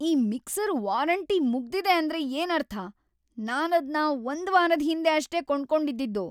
ಈ mixer warranty ಮುಗ್ದಿದೆ ಅಂದ್ರೆ ಏನರ್ಥ?!ನಾನದ್ನ ಒಂದ್ವಾರದ್‌ ಹಿಂದೆ ಅಷ್ಟೇ ಕೊಂಡ್ಕೊಂಡಿದ್ದಿದ್ದು!